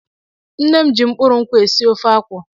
Nne m ji mkpụrụ nkwụ́ sie ofe akwụ.